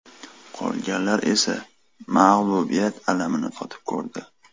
Qolganlari esa mag‘lubiyat alamini totib ko‘rdi.